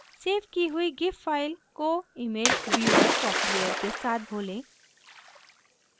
save की हुई gif file को image व्यूअर सॉफ्टवेयर के साथ खोलें